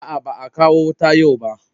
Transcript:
A'a, baa kawo wuta yau ba.